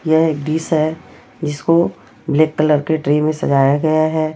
यह एक डिश है जिसको ब्लैक कलर के ट्रे में सजाया गया है।